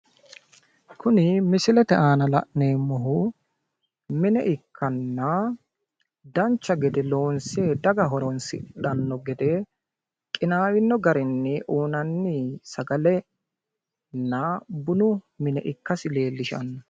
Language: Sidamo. Kuni misilete aana la'neemmohu mine ikkanna dancha gede loonse daga horonsidhanno gede qinaawino garinni uuyinanni sagalenna bunu mine ikkasi leellishsnno.